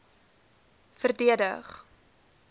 verdedig